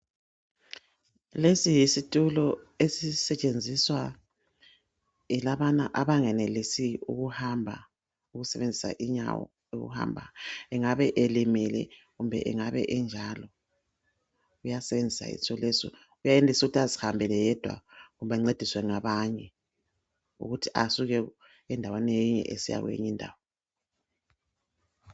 Lesi yisitulo esisetshenziswa yilabana abangenelisi ukuhamba. Ukusebenzisa inyawo, ukuhamba. Engabe elimele, angabe enjalo. Uyasisebenzisa isitulo lesi. Uyenelisa ukuthi azihambele yedwa, kumbe ancediswa ngabanye. Ukuthi asuke endaweni leyi, esiya kweyinye indawo.